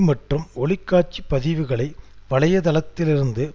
மற்றும் ஒளிகாட்சிப்பதிவுகளை வலைதளத்திலிருந்து